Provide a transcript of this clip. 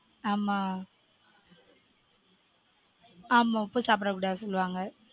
ஆமா ஆமா உப்பு சாப்ட கூடாது சொல்லுவாங்க